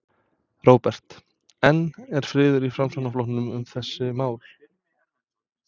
Róbert: En er friður í Framsóknarflokknum um þessi mál?